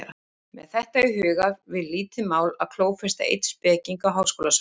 Með þetta í huga var lítið mál að klófesta einn speking á háskólasvæðinu.